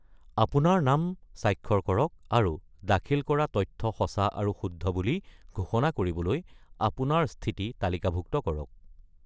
আপোনাৰ নাম স্বাক্ষৰ কৰক আৰু দাখিল কৰা তথ্য সঁচা আৰু শুদ্ধ বুলি ঘোষণা কৰিবলৈ আপোনাৰ স্থিতি তালিকাভুক্ত কৰক।